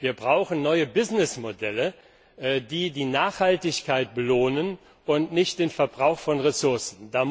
Wir brauchen neue Geschäftsmodelle, die die Nachhaltigkeit belohnen und nicht den Verbrauch von Ressourcen.